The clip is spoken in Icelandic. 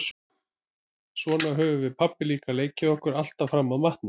Svona höfðum við pabbi líka leikið okkur alltaf fram að matnum.